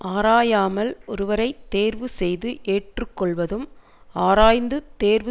ஆராயாமல் ஒருவரை தேர்வு செய்து ஏற்று கொள்வதும் ஆராய்ந்து தேர்வு